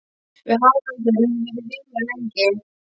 Við Haraldur höfum verið vinir lengi.